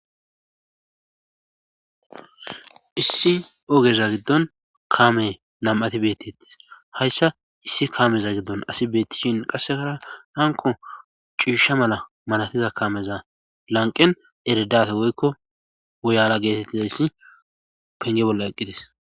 Issi ogeza giddon kaame nam'ati beetettes hayssa issi kaameza giddon asi beettishin qassekara hanko ciisha mala malatiza kameza lanqen eredafe woykko woyala geetettizayssi penge bolla eqqites